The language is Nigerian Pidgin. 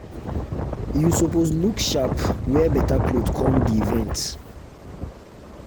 you suppose look sharp wear better cloth come di event